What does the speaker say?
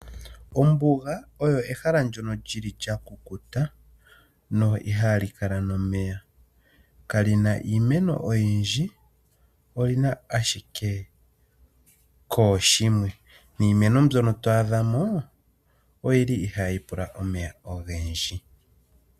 Ombuga oyo ehala ndyono lyi li lyakukuta, na ihali kala nomeya. Kali na iimeno oyindji, oli na ashike kooshimwe, niimeno mbyono to adha mo oyi li ihaayi pula omeya ogendji.